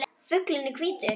Fuglinn er hvítur.